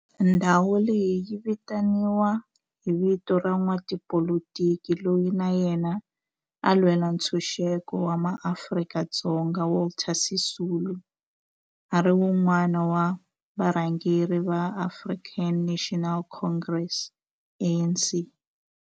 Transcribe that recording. Ndhawo leyi yi vitaniwa hi vito ra n'watipolitiki loyi na yena a lwela ntshuxeko wa maAfrika-Dzonga Walter Sisulu, a ri wun'wana wa varhangeri va African National Congress, ANC.